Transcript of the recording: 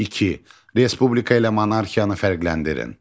İki: Respublika ilə monarxiyanı fərqləndirin.